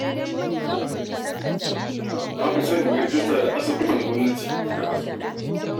Na fi son in yi rijista da asibitin gwamnati a kan asibitin kuɗi.